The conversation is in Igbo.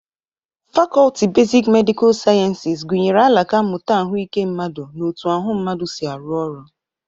Fakọlti besik medịkal siayensis gụnyere alaka mmụta ahụike mmadụ na otu ahụ mmadụ si arụ ọrụ.